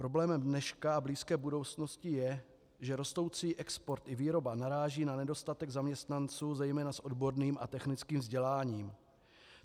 Problémem dneška a blízké budoucnosti je, že rostoucí export i výroba naráží na nedostatek zaměstnanců zejména s odborným a technickým vzděláním.